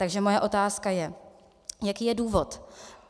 Takže moje otázka je, jaký je důvod.